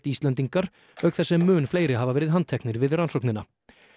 Íslendingar auk þess sem mun fleiri hafa verið handteknir við rannsóknina